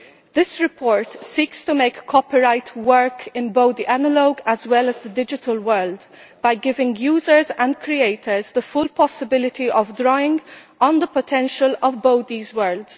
This report seeks to make copyright work in both the analogue as well as the digital world by giving users and creators the full possibility of drawing on the potential of both these worlds.